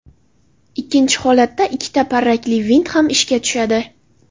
Ikkinchi holatda, ikkita parrakli vint ham ishga tushadi.